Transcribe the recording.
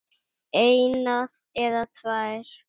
eina eða tvær.